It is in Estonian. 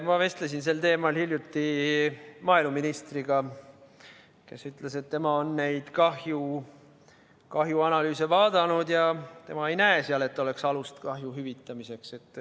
Ma vestlesin sel teemal hiljuti maaeluministriga, kes ütles, et tema on neid kahjuanalüüse vaadanud ja tema ei näe, et oleks alust kahju hüvitamiseks.